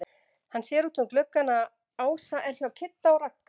Hann sér út um gluggann að Ása er hjá Kidda og Ragga.